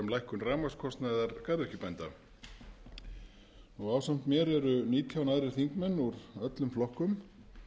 lækkun rafmagnskostnaðar garðyrkjubænda ásamt mér eru nítján aðrir þingmenn úr öllum flokkum